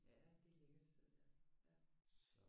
Ja det er et lækkert sted ja ja